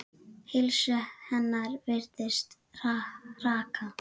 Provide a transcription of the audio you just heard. Heilsu hennar virðist hraka.